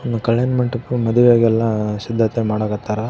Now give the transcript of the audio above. ಹ್ಮ್ ಕಲ್ಯಾಣ ಮಂಟಪ ಮದ್ವೆಗೆಲ್ಲ ಸಿದ್ಧತೆ ಮಾಡಾಕ್ ಹತ್ತಾರ.